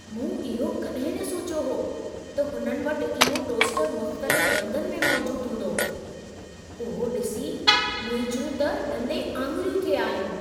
मूं इहो कॾहिं न सोचियो हो त हुननि वटि इहो टोस्टरु मुख़्तलिफ़ रंगनि में मौजूद हूंदो, उहो ॾिसी मुंहिंजियूं त ॾंदे आङुरियूं थे आयूं।